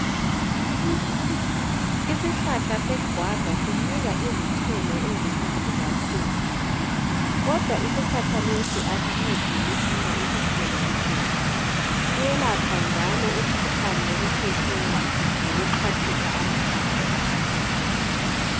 Isihlahla seguava sinika izithelo ezimnandi kakhulu kodwa isihlahla lesi kasincedi ngokusinika izithelo kuphela siyelapha njalo umkhuhlane wokukhwehlela ngokuxhwathisa amahlamvu aso.